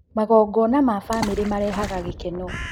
Magongona ma bamĩrĩ marehaga gĩkeno